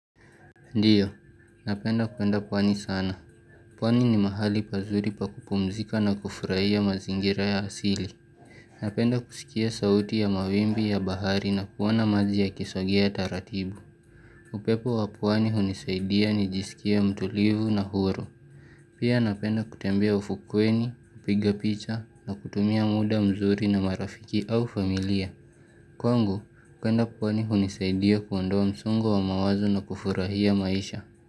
Ndiyo, napenda kuenda pwani sana. Pwani ni mahali pazuri pa kupumzika na kufurahia mazingira ya asili. Napenda kusikia sauti ya mawimbi ya bahari na kuona maji yakisogea taratibu. Upepo wa pwani unisaidia nijisikie mtulivu na huru. Pia napenda kutembea ufukweni, kupiga picha na kutumia muda mzuri na marafiki au familia. Kwangu, kuenda pwani unisaidia kuondoa msongo wa mawazo na kufurahia maisha.